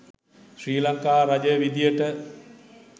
ශ්‍රී ලංකා රජය විදියට.